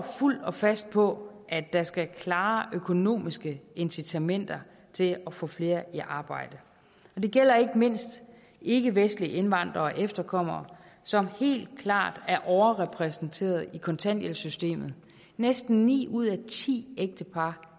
fuldt og fast på at der skal klare økonomiske incitamenter til at få flere i arbejde det gælder ikke mindst ikkevestlige indvandrere og efterkommere som helt klart er overrepræsenteret i kontanthjælpssystemet næsten ni ud af ti ægtepar